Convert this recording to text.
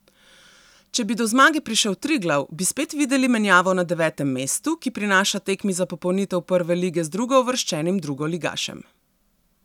Če bi do zmage prišel Triglav, bi spet videli menjavo na devetem mestu, ki prinaša tekmi za popolnitev prve lige z drugouvrščenim drugoligašem.